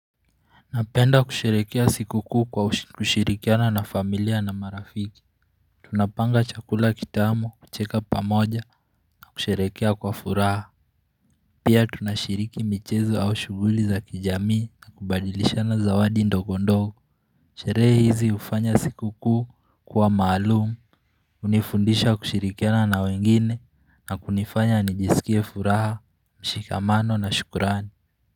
Napenda kusherekea sikukuu kwa kushirikiana na familia na marafiki Tunapanga chakula kitamu kucheka pamoja na kusherekea kwa furaha Pia tunashiriki michezo au shughuli za kijamii na kubadilishana zawadi ndogo ndogo Sherehe hizi hufanya sikukuu kuwa maalum hunifundisha kushirikiana na wengine na kunifanya nijisikie furaha, mshikamano na shukrani.